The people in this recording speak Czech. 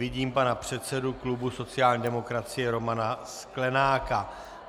Vidím pana předsedu klubu sociální demokracie Romana Sklenáka.